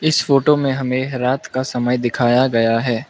इस फोटो में हमे रात का समय दिखाया गया है।